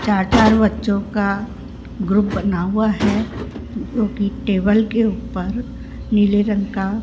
चार चार बच्चों का ग्रुप बना हुआ है जो की टेबल के ऊपर नीले रंग का --